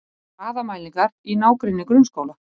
Hraðamælingar í nágrenni grunnskóla